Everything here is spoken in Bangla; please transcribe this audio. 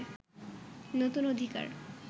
নতুন অধিকার